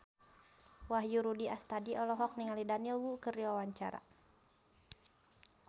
Wahyu Rudi Astadi olohok ningali Daniel Wu keur diwawancara